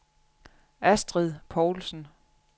Astrid Povlsen